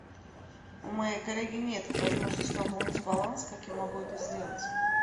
у моей коллеги нет возможности пополнить баланс как я могу это сделать